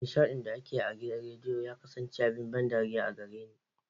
Nishaɗin da ake yi a rediyo ya kasance abin ban dariya a gare ni.